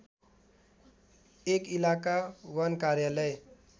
१ इलाका वन कार्यालय